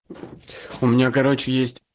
у меня короче есть